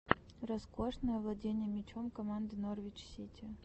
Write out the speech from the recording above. роскошная владение мячом команды норвич сити